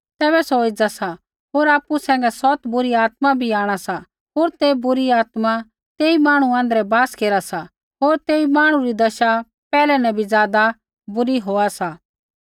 तैबै सौ एज़ा सा होर आपु सैंघै सौत बुरी आत्मा बै भी आंणा सा होर तै बुरी आत्मा तेई मांहणु आँध्रै बास केरा सा होर तेई मांहणु री दशा पैहलै न भी ज़ादा बुरी होआ सा